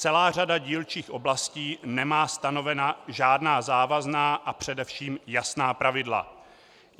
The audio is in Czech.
Celá řada dílčích oblastí nemá stanovena žádná závazná a především jasná pravidla.